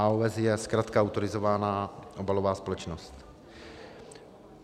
AOS je zkratka - autorizovaná obalová společnost.